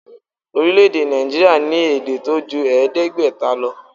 Orílèdè Nàìjíríà ní èdè tó ju èédégbéta lo